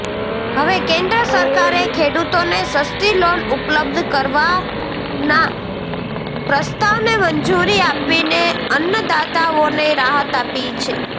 હવે કેન્દ્ર સરકારે ખેડૂતોને સસ્તી લોન ઉપલબ્ધ કરાવવાના પ્રસ્તાવને મંજૂરી આપીને અન્નદાતાઓને રાહત આપી છે